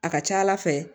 A ka ca ala fɛ